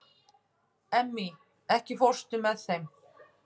Emmý, ekki fórstu með þeim?